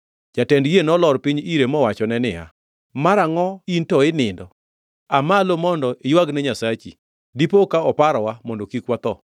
Jatend yie nolor piny ire mowachone niya, “Mara angʼo in to inindo? Aa malo mondo iywagne nyasachi! Dipo ka oparowa, mondo kik watho.”